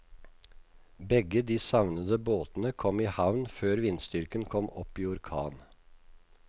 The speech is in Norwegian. Begge de savnede båtene kom i havn før vindstyrken kom opp i orkan.